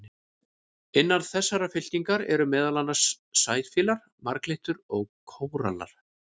Innan þessarar fylkingar eru meðal annars sæfíflar, marglyttur og kórallar.